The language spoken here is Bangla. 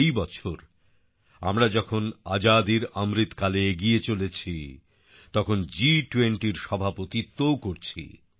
এই বছর আমরা যখন আজাদীর অমৃতকালে এগিয়ে চলেছি তখন G20র সভাপতিত্বও করছি